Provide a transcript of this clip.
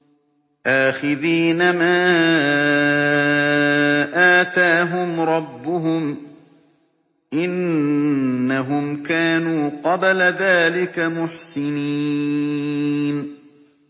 آخِذِينَ مَا آتَاهُمْ رَبُّهُمْ ۚ إِنَّهُمْ كَانُوا قَبْلَ ذَٰلِكَ مُحْسِنِينَ